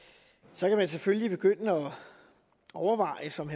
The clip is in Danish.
så kan man selvfølgelig begynde at overveje som